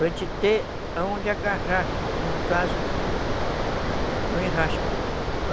Para gente ter onde agarrar, no caso do enrasque.